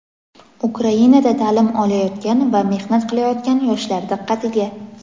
Ukrainada taʼlim olayotgan va mehnat qilayotgan yoshlar diqqatiga.